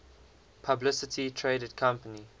publicly traded company